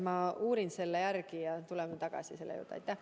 Ma uurin selle järele ja tuleme selle juurde tagasi.